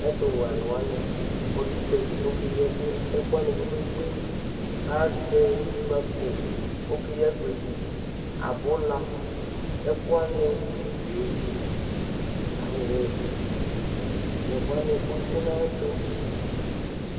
Ɛtʋwɛ alʋ wanɩ ɔdʋ ʋdza li kʋ ɔkeyi ɛkʋ, ɛkʋ wanɩ kpe-kpe-kpe kʋ azɛ ikpǝko Ɔkeyi agbedi, abʋla, ɛkʋ wanɩ isi, awʋ nʋ ɛkʋ wanɩ nʋ ayɛtʋ